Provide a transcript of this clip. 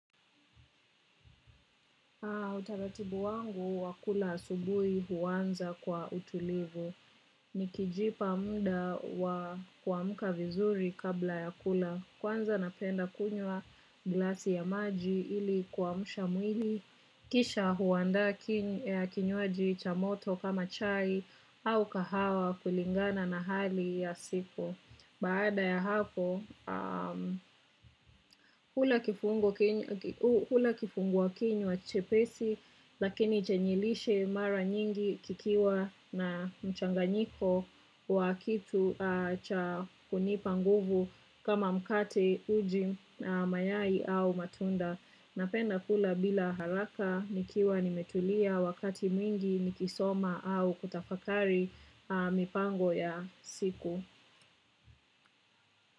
Utaratibu wangu wa kula asubuhi huanza kwa utulivu. Nikijipa mda wa kuamka vizuri kabla ya kula. Kwanza napenda kunywa glasi ya maji ili kuamsha mwili. Kisha huandaa kinywaji cha moto kama chai au kahawa kulingana na hali ya siku. Baada ya hapo hula kifungua kinywa chepesi lakini chanye lishe mara nyingi kikiwa na mchanganyiko wa kitu cha kunipa nguvu kama mkate uji mayai au matunda. Napenda kula bila haraka nikiwa nimetulia wakati mwingi nikisoma au kutafakari mipango ya siku.